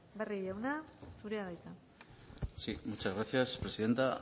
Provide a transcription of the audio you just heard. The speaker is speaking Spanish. barrio jauna zurea da hitza sí muchas gracias presidenta